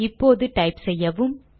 இப்போது டைப் செய்யவும்